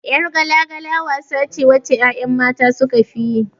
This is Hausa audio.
Yar gala-gala wasa ce wacce 'ya'ya mata sukafi yi.